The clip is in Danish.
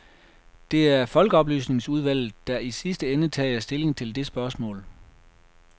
Det er folkeoplysningsudvalget, der i sidste ende tager stilling til det spørgsmål.